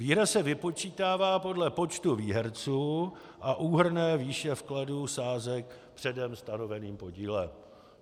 Výhra se vypočítává podle počtu výherců a úhrnné výše vkladů sázek předem stanoveným podílem.